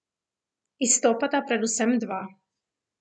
Izstopata predvsem dva.